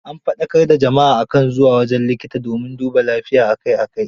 An faɗakar da jama'a a kan zuwa wajen likita domin dubaa lafiya a kai a kai.